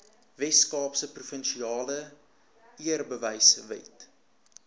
weskaapse provinsiale eerbewysewet